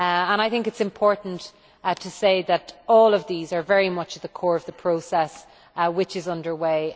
I think it is important to say that all of these are very much at the core of the process which is underway.